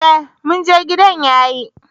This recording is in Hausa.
Ee mun je, gidan yayi.